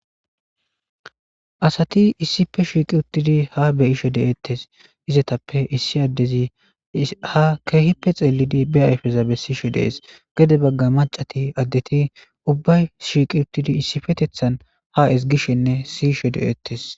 Asat issippe shiqid utid ha be'ishe detes.izetappe issi adez ha keehippe xelid be ayfeza besishe de'es . Gede Baga mac'ati adet ubbay shiq utid issipetethan ha ezigishenne siyishe de'etes